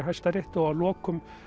Hæstarétti og að lokum